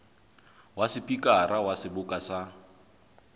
wa sepikara wa seboka sa